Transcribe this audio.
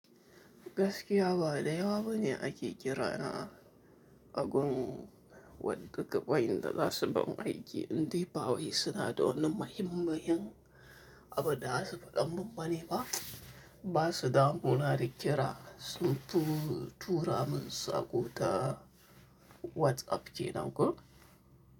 Gaskiya ba da yawa bane ake kira na a gun wadannan gaba'in da za su bamu aiki, indai ba wai suna da wannan muhimmayin abada zasu faɗan mun bane ba. Ba su damu na da ƙira sun fi tura mun sako ta WhatsApp kenan ko.